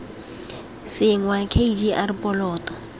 senngwa k g r poloto